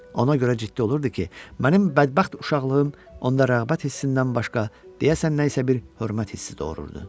Ona görə ciddi olurdu ki, mənim bədbəxt uşaqlığım onda rəğbət hissindən başqa, deyəsən, nə isə bir hörmət hissi doğururdu.